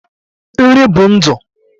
Nri bụ ndụ